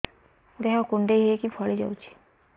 ଦେହ କୁଣ୍ଡେଇ ହେଇକି ଫଳି ଯାଉଛି